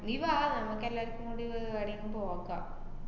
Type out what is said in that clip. നീ വാ നമ്മക്കെല്ലാരുക്കും കൂടി വ~ ഏർ ഏടേക്കും പോകാം.